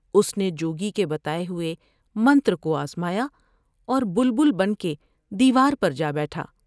اس نے جوگی کے بتاۓ ہوۓ منتر کو آزمایا اور بلیل بن کے دیوار پر جا بیٹھا ۔